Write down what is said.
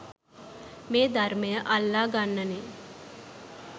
මේ ධර්මය අල්ලගන්නෙ